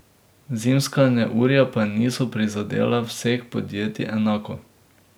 Zimska neurja pa niso prizadela vseh podjetij enako.